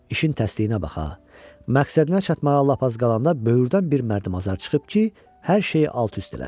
İşin təsdiqinə baxa, məqsədinə çatmağa lap az qalanda böyürdən bir mərdüməzar çıxıb ki, hər şeyi alt-üst eləsin.